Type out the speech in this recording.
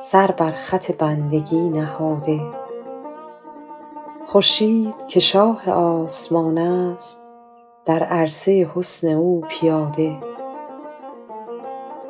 سر بر خط بندگی نهاده خورشید که شاه آسمان است در عرصه حسن او پیاده